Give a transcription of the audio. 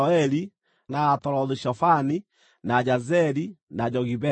na Atarothu-Shofani, na Jazeri, na Jogibeha,